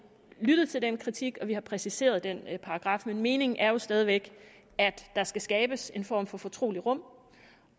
lyttet til den kritik og vi har præciseret den paragraf men meningen er jo stadig væk at der skal skabes en form for fortroligt rum